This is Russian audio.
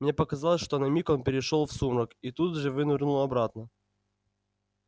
мне показалось что на миг он перешёл в сумрак и тут же вынырнул обратно